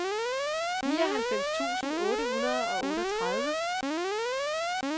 nioghalvfems tusind otte hundrede og otteogtredive